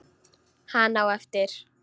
Hann á eftir.